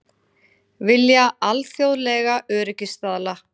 Vilja alþjóðlega öryggisstaðla